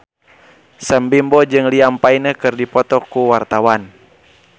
Sam Bimbo jeung Liam Payne keur dipoto ku wartawan